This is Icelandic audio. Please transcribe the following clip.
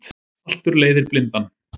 Haltur leiðir blindan